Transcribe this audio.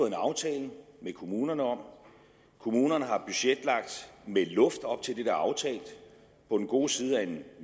en aftale med kommunerne om kommunerne har budgetlagt med luft op til det der er aftalt på den gode side af en